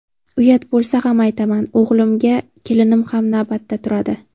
Uyat bo‘lsa ham aytaman, og‘ilimga kelinim ham navbatda turadi.